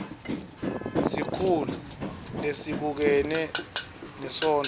sikhulu lesibukene nesondlo